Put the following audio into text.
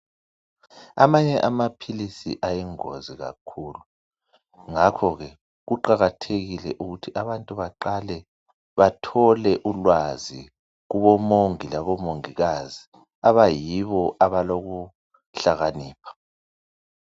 Amanye amaphilisi ayingozi kakhulu, ngakhokhe kuqakathekile ukuthi abantu baqale bathole ulwazi kubomongi labomongikazi abayibo abalokuhlakanipha.